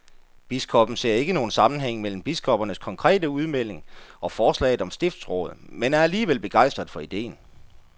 Biskoppen ser ikke nogen sammenhæng mellem biskoppernes konkrete udmelding og forslaget om stiftsråd, men er alligevel begejstret for ideen.